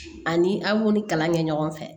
Ani an b'u ni kalan kɛ ɲɔgɔn fɛ